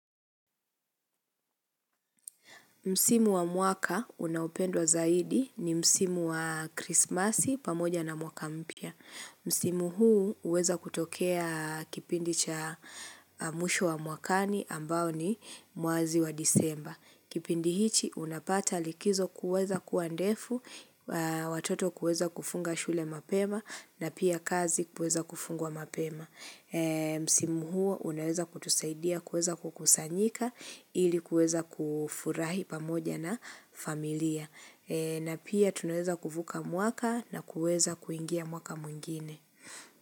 Msimu wa mwaka unaopendwa zaidi ni msimu wa krismasi pamoja na mwaka mpya. Msimu huu huweza kutokea kipindi cha mwisho wa mwakani ambao ni mwezi wa disemba. Kipindi hiki unapata likizo kuweza kuwa ndefu, watoto kuweza kufunga shule mapema na pia kazi kuweza kufungwa mapema. Msimu huo unaweza kutusaidia kuweza kukusanyika ili kuweza kufurahi pamoja na familia na pia tunaweza kuvuka mwaka na kuweza kuingia mwaka mwingine.